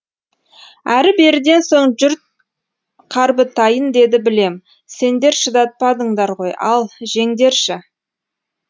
әрі беріден соң жұрт қарбытайын деді білем сендер шыдатпадыңдар ғой ал жеңдерші